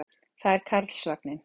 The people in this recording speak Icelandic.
Það er Karlsvagninn.